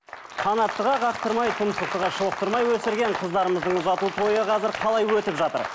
қанаттыға қақтырмай тұмсықтыға шоқтырмай өсірген қыздарымыздың ұзату тойы қазір қалай өтіп жатыр